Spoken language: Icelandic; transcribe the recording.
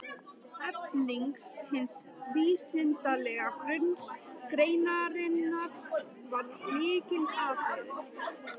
Efling hins vísindalega grunns greinarinnar varð lykilatriði.